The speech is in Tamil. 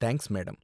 Thanks, madam.